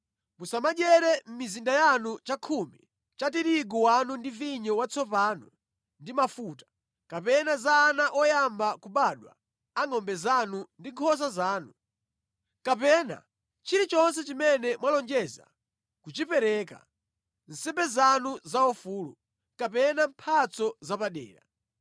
Musamadyere mʼmizinda yanu chakhumi cha tirigu wanu ndi vinyo watsopano ndi mafuta, kapena za ana oyamba kubadwa a ngʼombe zanu ndi nkhosa zanu, kapena chilichonse chimene mwalonjeza kuchipereka, nsembe zanu zaufulu, kapena mphatso zapadera,